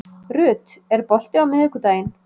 Ruth, er bolti á miðvikudaginn?